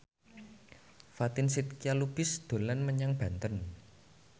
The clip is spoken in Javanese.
Fatin Shidqia Lubis dolan menyang Banten